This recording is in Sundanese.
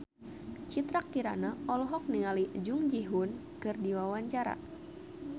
Citra Kirana olohok ningali Jung Ji Hoon keur diwawancara